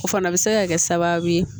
O fana bɛ se ka kɛ sababu ye